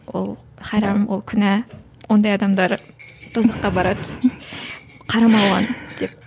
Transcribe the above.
ол харам ол күнә ондай адамдар бұзыққа барады қарама оған деп